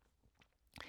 DR K